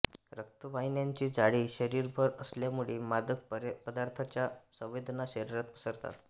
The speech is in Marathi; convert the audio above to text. रक्तवाहिन्यांचे जाळे शरीरभर असल्यामुळे मादक पदार्थाच्या संवेदना शरीरात पसरतात